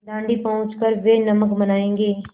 दाँडी पहुँच कर वे नमक बनायेंगे